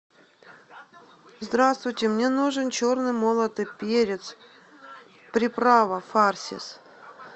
здравствуйте мне нужен черный молотый перец приправа фарсис